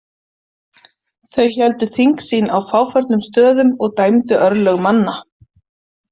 Þau héldu þing sín á fáförnum stöðum og dæmdu örlög manna.